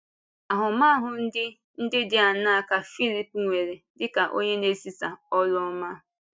Ahụmahụ ndị ndị dị áńaa ka Fílíp nwere dị ka onye na-ezisa ọ́rụ ọma?